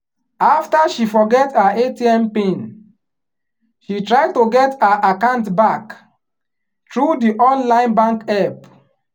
after she forget her atm pin she try to get her account back through di online bank help.